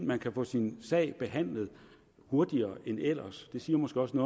man kan få sin sag behandlet hurtigere end ellers det siger måske også